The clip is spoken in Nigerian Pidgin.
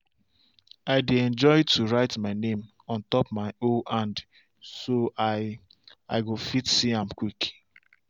i dey enjoy to write my name on top my hoe hand so i i go fit see am quick.